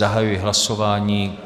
Zahajuji hlasování.